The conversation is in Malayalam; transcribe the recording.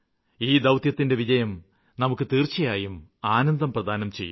ഈ ദൌത്യത്തിന്റെ വിജയം നമുക്ക് തീര്ച്ചയായും ആനന്ദം പ്രദാനം ചെയ്യും